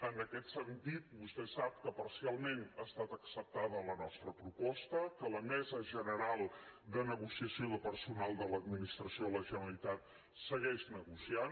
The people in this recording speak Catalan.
en aquest sentit vostè sap que parcialment ha estat acceptada la nostra proposta que la mesa general de negociació del personal de l’administració de la generalitat segueix negociant